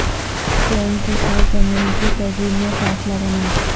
tone کے ساتھ زمین کی تزئین میں فاصلہ بنائیں